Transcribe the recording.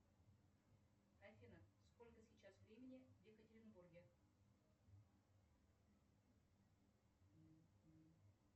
афина сколько сейчас времени в екатеринбурге